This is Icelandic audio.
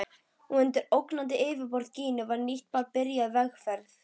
Og undir ólgandi yfirborði Gínu var nýtt barn byrjað vegferð.